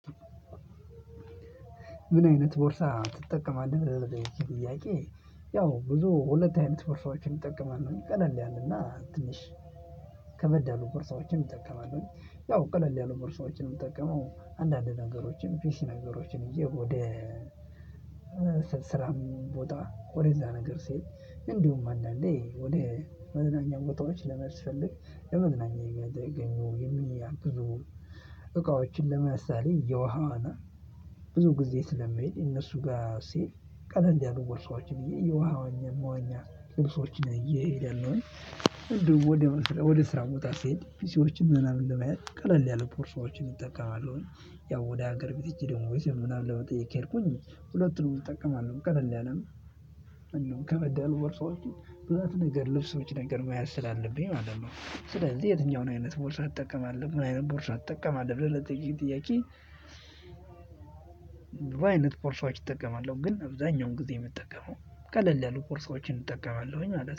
ምን አይነት ቦርሳ ትጠቀማለህ ለሚለው ጥያቄ? ያው ብዙ ሁለት አይነት በርሻዎችን እጠቀማለሁ ቀለል ያለና ትንሽ ከበድ ያሉ ቦርሳዎችን እጠቀማለሁ ያው ቀለል ያሉ ቦርሳዎችን ምጠቀመው አንዳንድ ነገሮችን ፒሲ ነገሮችን ይዤ ወደ ሞጣ ወደዛ ነገር ሲሄድ እንዲሁም አንዳንዴ ወደ መዝናኛ ቦታዎች ስለሚያስፈልግ ለመዝናኛ የምያገለግለኝን የሚያግዙ እቃዎችን ለምሳሌ የውሃ ዋና ብዙ ጊዜ ስለመሄድ እነሱ ጋር ሲሄድ ቀለል ያሉ ቦርሳዎችን የውሃ መዋኛ ልብሶችን ይዤ ሄዳለሁኝ። እንዲሁም ወደ ስራ ወደ ስራ ቦታ ስሄድ ፒሲዎችን ምናምን ለመያዝ ቀለል ያለ ቦርሳዎችን እጠቀማለሁኝ። ያው ወደ ሀገር ብትጭ ደግሞ ዘመድ ምናምን ለመጠየቅ ከሄድኩኝ ሁለቱን እጠቀማለሁ ቀለል ያለም እንደው ከበድ ያሉ ቦርሳዎችን ብዛት ነገር ልብሶች ነገር መያዝ ስላለብኝ ማለት ነው። ስለዚህ የትኛውን አይነት ቦርሳ ትጠቀማለሁ ምን አይነት ቦርሳ ትጠቀማለሁ ብለህ ለጠየከኝ ጥያቄ? ብዙ አይነት ቦርሳዎች እጠቀማለሁ ግን አብዛኛውን ጊዜ የምጠቀመው ቀለል ያሉ ቦርሳዎችን እጠቀማለሁኝ ማለት ነው